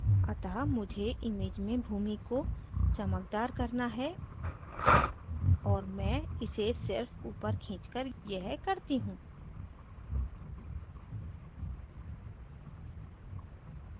अतः मुझे image में भूमि को चमकदार करना है और मैं इसे सिर्फ ऊपर खींचकर यह करती हूँ